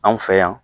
Anw fɛ yan